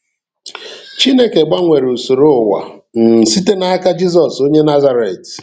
Chineke gbanwere usoro ụwa um site n’aka Jisọs onye Nazaret.